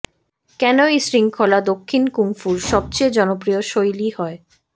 কেন এই শৃঙ্খলা দক্ষিণ কুংফুর সবচেয়ে জনপ্রিয় শৈলী হয়